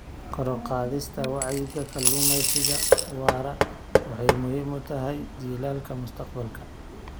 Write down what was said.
Kor u qaadista wacyiga kalluumeysiga waara waxay muhiim u tahay jiilalka mustaqbalka.